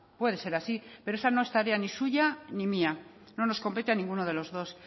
puede ser así pero esa no es tarea ni suya ni mía no nos compete a ninguno de los dos